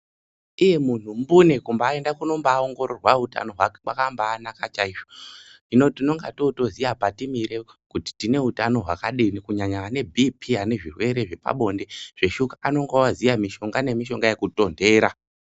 Iye munhu mbune kumbaenda kunombaongororwa utano hwake kwakambaanaka chaizvo hino tinonga totoziya patimire kuti tine utano hwakadini kunyanya vane bhipii ane zvirwere zvepabonde zveshuka anonga oziya mishonga nemishonga yekutondera .